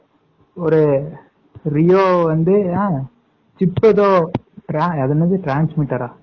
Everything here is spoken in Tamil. ஒரு ரியோ அது என்னது transmitter ஆ